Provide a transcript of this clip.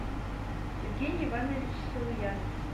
евгений иванович силуянов